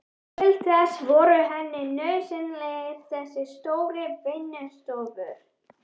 Til þess voru henni nauðsynlegar þessar stóru vinnustofur.